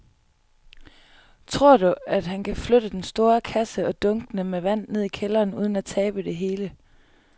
Tror du, at han kan flytte den store kasse og dunkene med vand ned i kælderen uden at tabe det hele?